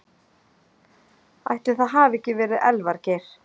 Ætli það hafi ekki verið Elvar Geir.